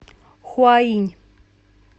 хуаинь